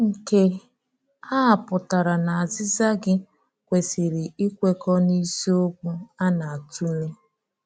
Nke a pụtara na azíza gị kwesị́rị íkwekọ n’isiokwu a na-atụ̀le.